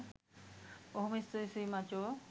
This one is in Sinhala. බොහොම ස්තුතියි මචො